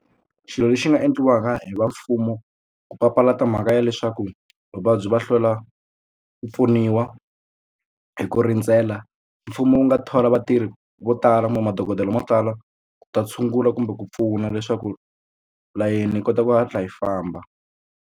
Xilo lexi nga endliwaka hi va mfumo ku papalata mhaka ya leswaku vavabyi va hlwela ku pfuniwa hi ku rindzela mfumo wu nga thola vatirhi vo tala kumbe madokodela mo tala ku ta tshungula kumbe ku pfuna leswaku layeni yi kota ku hatla yi famba.